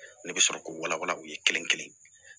Ne bɛ sɔrɔ k'u wala wala u ye kelen kelen